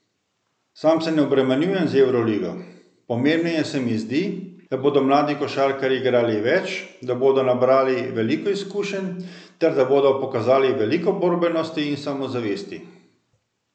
Sam se ne obremenjujem z Evroligo, pomembneje se mi zdi, da bodo mladi košarkarji igrali več, da bodo nabrali veliko izkušenj ter da bodo pokazali veliko borbenosti in samozavesti.